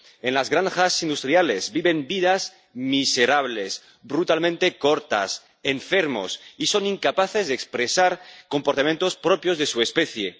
En las granjas industriales viven vidas miserables, brutalmente cortas, enfermos, y son incapaces de expresar comportamientos propios de su especie.